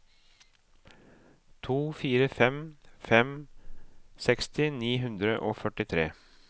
to fire fem fem seksti ni hundre og førtitre